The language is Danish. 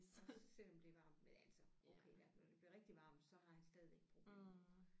Også selvom det er varmt men altså okay ja når det bliver rigtig varmt så har han stadigvæk problemer